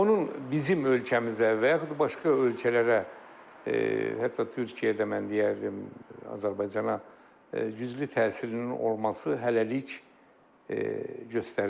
Onun bizim ölkəmizə və yaxud başqa ölkələrə, hətta Türkiyəyə də mən deyərdim, Azərbaycana güclü təsirinin olması hələlik göstərilmir.